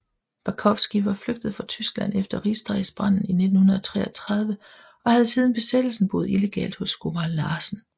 Bakowski var flygtet fra Tyskland efter Rigsdagsbranden i 1933 og havde siden Besættelsen boet illegalt hos skomager Larsen